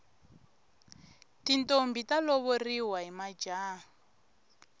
tintombhi ta lovoriwa hi majaha